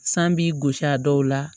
San b'i gosi a dɔw la